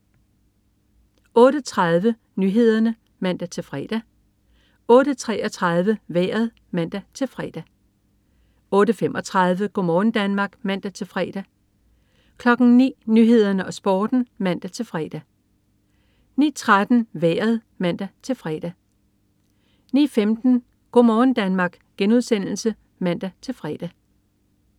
08.30 Nyhederne (man-fre) 08.33 Vejret (man-fre) 08.35 Go' morgen Danmark (man-fre) 09.00 Nyhederne og Sporten (man-fre) 09.13 Vejret (man-fre) 09.15 Go' morgen Danmark* (man-fre)